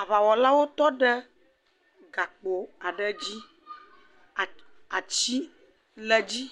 Aʋawɔlawo tɔ ɖe gakpo aɖe dzi, atsi le dzi,